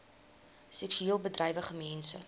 seksueel bedrywige mense